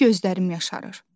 Hey gözlərim yaşarır.